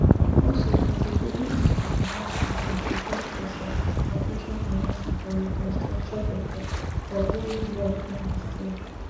also dem go table issues around sanctions against russia and future financing for reconstruction efforts for wia war don destroy